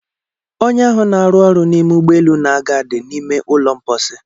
Onye ahụ n'aru ọrụ n'ime ụgbọelu na-aga dị n'ime ụlọ mposi.